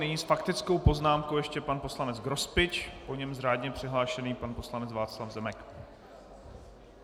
Nyní s faktickou poznámkou ještě pan poslanec Grospič, po něm řádně přihlášený pan poslanec Václav Zemek.